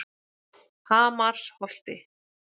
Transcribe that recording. Hamarsholti